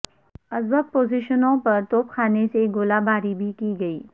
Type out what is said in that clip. ازبک پوزیشنوں پر توپ خانے سے گولہ باری بھی کی گئی